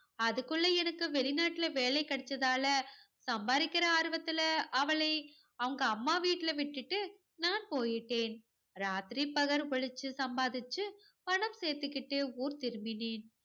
அதுக்குள்ள எனக்கு வெளிநாட்டுல வேலை கிடைச்சத்தால சம்பாதிக்கிற ஆர்வத்துல அவளை அவங்க அம்மா வீட்டுல விட்டுட்டு நான் போயிட்டேன். ராத்திரி பகல் உழைச்சு சம்பாதிச்சு பணம் சேர்த்துகிட்டு ஊர் திரும்பினேன்.